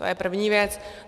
To je první věc.